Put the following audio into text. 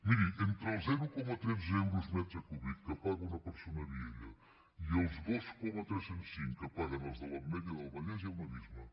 miri entre el zero coma tretze euros per metre cúbic que paga una persona a vielha i els dos coma tres cents i cinc que paguen els de l’ametlla del vallès hi ha un abisme